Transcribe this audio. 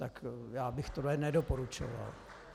Tak já bych tohle nedoporučoval.